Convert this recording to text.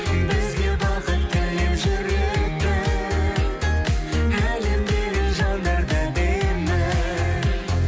бізге бақыт тілеп жүретін әлемдегі жандар да әдемі